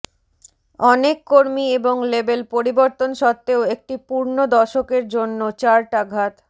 অনেক কর্মী এবং লেবেল পরিবর্তন সত্ত্বেও একটি পূর্ণ দশকের জন্য চার্ট আঘাত